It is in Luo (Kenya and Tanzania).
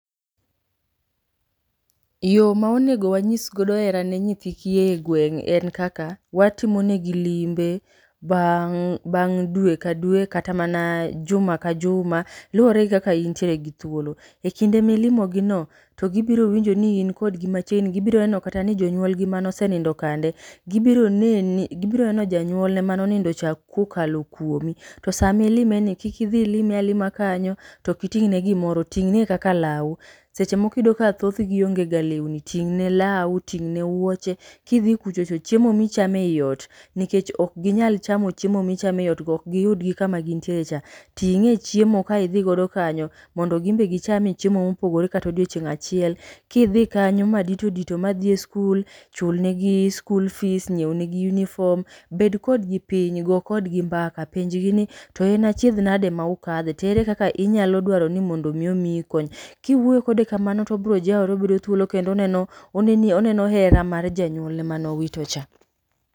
Yo ma onego wanyis godo hera ne nyithi kiye e gweng' en kakak, watimo negi limbe bang' dwe ka dwe. Kata mana juma ka juma, luwore gi kaka intiere gi thuolo. E kinde milimogi no, to gibiro winjo ni in kodgi machiegni, gibiro neno kata ni jonyuolgi mane osinindo kande. Gibiro neni, gibiro neno janyuolne mano nindo cha kokalo kuomi. To sami lime ni kikidhi ilime alima kanyo, tokiting'ne gimoro. Ting'ne kaka lawu, seche moko iyudo ka thothgo onge ga lewni. Ting'ne lawu, ting'ne wuoche, kidhi kuchocho, chiemo michame iot, nikech ok ginyal chamo chiemo michame iot go. Ok giyudgi kama gintiere cha, ting'e chiemo ka idhi godo kanyo mobdo gimbe gichame chiemo kato diochieng' achiel. Kidhi kanyo madito dito madhi e skul, chulne gi skul fis, ng'iewnegi unifom. Bed kodgi piny, go kodgi mbaka, penjgi ni to en achiedh nade ma ukadhe? To ere kaka inyalo dwaro ni mondo omiyi kony. Kiwuoyo kode kamano tobro jawore, obro yudo thuolo kendo oneno oneni oneno hera mar janyuolne manowito cha.